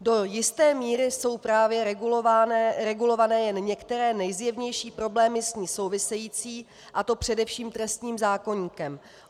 Do jisté míry jsou právě regulované jen některé nejzjevnější problémy s ní související, a to především trestním zákoníkem.